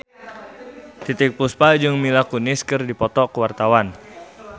Titiek Puspa jeung Mila Kunis keur dipoto ku wartawan